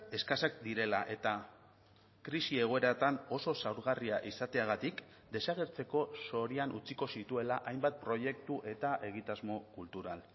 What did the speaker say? eskasak direla eta krisi egoeratan oso zaurgarria izateagatik desagertzeko zorian utziko zituela hainbat proiektu eta egitasmo kultural